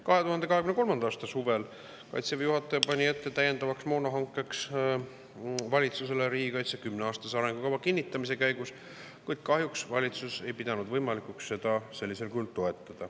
2023. aasta suvel pani Kaitseväe juhataja valitsusele täiendava moona hankimise ette riigikaitse kümneaastase arengukava kinnitamise käigus, kuid kahjuks valitsus ei pidanud võimalikuks seda sellisel kujul toetada.